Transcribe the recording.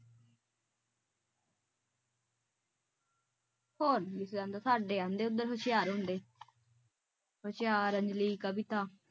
ਹੋਰ ਕਿ ਕਹਿੰਦਾ ਸਾਡੇ ਆਂਦੇ ਉਧਰ ਹੁਸ਼ਿਆਰ ਹੁੰਦੇ ਹੁਸ਼ਿਆਰ ਅੰਜਲੀ ਕਵਿਤਾ